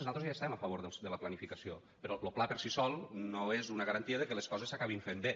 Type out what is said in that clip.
nosaltres ja hi estem a favor de la planificació però el pla per si sol no és una garantia de que les coses s’acabin fent bé